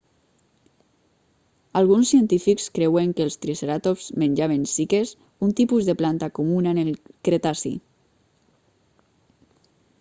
alguns científics creuen que els triceratops menjaven ciques un tipus de planta comuna en el cretaci